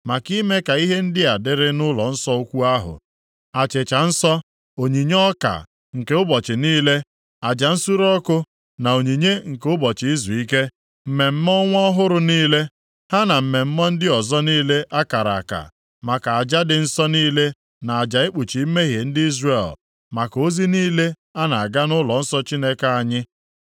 maka ime ka ihe ndị a dịrị nʼụlọnsọ ukwu ahụ: achịcha nsọ, onyinye ọka nke ụbọchị niile, aja nsure ọkụ na onyinye nke ụbọchị izuike, mmemme ọnwa ọhụrụ niile, ha na mmemme ndị ọzọ niile a kara aka, maka aja dị nsọ niile na aja ikpuchi mmehie ndị Izrel, maka ozi niile a na-aga nʼụlọnsọ Chineke anyị.